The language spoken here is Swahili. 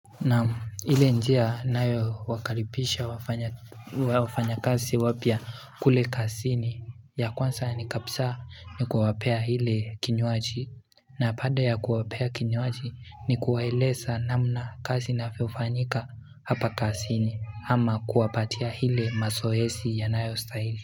Naam njia nayo wakaripisha wafanya kasi wapia kule kasini ya kwansa kabisa ni kuwapea ile kinywaji na pande ya kuwapea kinywaji ni kuwaeleza namna kasi nafufanyika hapa kasini ama kuwapatia hile mazoezi ya nayostahili.